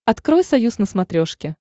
открой союз на смотрешке